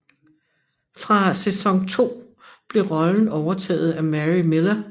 Fra sæson 2 blev rollen overtaget af Mary Millar